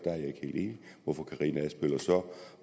og fru karina adsbøl